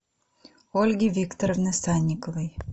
ольги викторовны санниковой